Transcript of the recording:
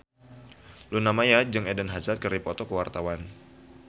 Luna Maya jeung Eden Hazard keur dipoto ku wartawan